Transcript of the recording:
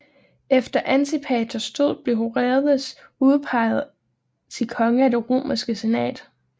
Efter Antipaters død blev Herodes udpeget til konge af Det romerske Senat